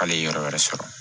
Hali yɔrɔ wɛrɛ sɔrɔ